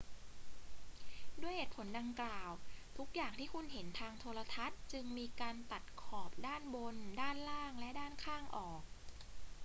ด้วยเหตุผลดังกล่าว ทุกอย่างที่คุณเห็นทางโทรทัศน์จึงมีการตัดขอบด้านบน ด้านล่าง และด้านข้างออก